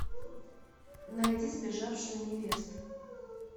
найди сбежавшую невесту